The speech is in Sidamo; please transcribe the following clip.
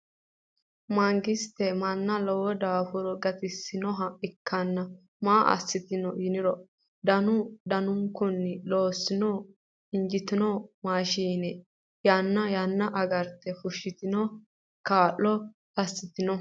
Mangisette manna lowo daffurinni gattissinnoha ikkanna maa assitte yinniro dannu danunkunni loosoho injjitinno maashshinne yaanna yaanna agaritte fushattenni kaa'lo asittunno.